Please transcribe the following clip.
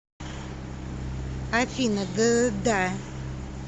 афина д да